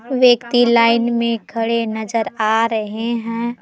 व्यक्ति लाइन में खड़े नजर आ रहे है।